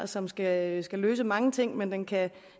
som skal skal løse mange ting men den kan